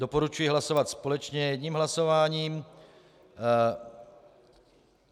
Doporučuji hlasovat společně jedním hlasováním.